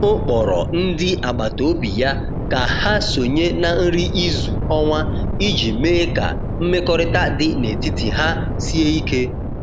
O kpọrọ ndị agbata obi ya ka ha sonye na nri izu ọnwa iji mee ka mmekọrịta dị n’etiti ha sie ike.